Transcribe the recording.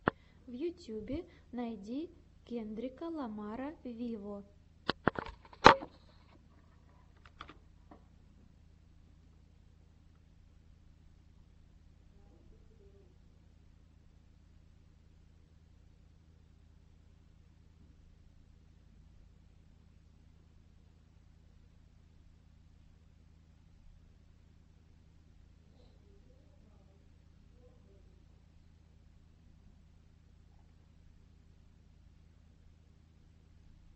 в ютьюбе найди кендрика ламара виво